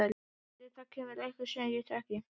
Vonaði að það kæmi einhver sem ég þekkti.